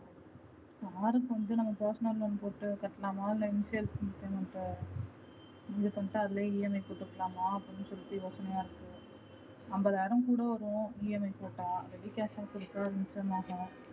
car வந்து நம்ம personal loan போட்டு கட்டலாமா இல்ல installment முடிவு பண்ணிட்டு அதுலே EMI போட்டுக்கலாமா அப்படினு சொல்லிட்டு யோசனையா இருக்கு ஐம்பது ஆயிரம் கூட வரும் EMI போட்ட ready cash னா கொஞ்சம் மிச்சமாகும்.